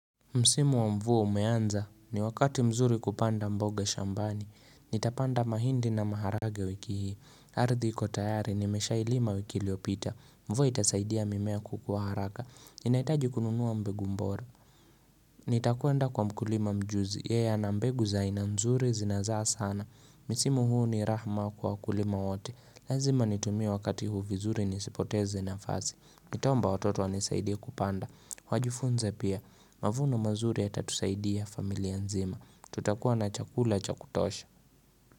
Msimu wa mvua umeanza ni wakati mzuri kupanda mboga shambani nitapanda mahindi na maharagwe wiki hii ardhi iko tayari nimeshailima wiki iliyopita mvua itasaidia mimea kukua haraka ninaitaji kununua mbegu mbora Nitakwenda kwa mkulima mjuzi, yeye ana mbegu za aina nzuri zinazaa sana Misimu huu ni rahma kwa wakulima wote Lazima nitumie wakati huu vizuri nisipoteze nafasi Nitaomba watoto wanisaidie kupanda Wajifunze pia, mavunoo mazuri yatatusaidia familia nzima Tutakuwa na chakula cha kutosha.